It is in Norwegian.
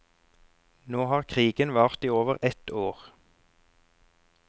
Nå har krigen vart i over et år.